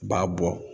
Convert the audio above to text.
U b'a bɔ